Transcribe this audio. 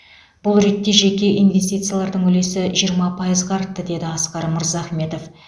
бұл ретте жеке инвестициялардың үлесі жиырма пайызға артты деді асқар мырзахметов